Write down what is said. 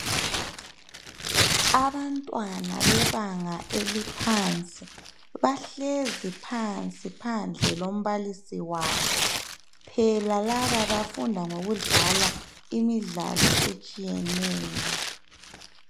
Abantwana bebanga eliphansi bahlezi phansi phandle lombalisi wabo, phela laba bafunda ngokudlala imidlalo etshiyeneyo.